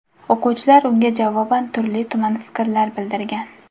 O‘quvchilar unga javoban turli-tuman fikrlar bildirgan.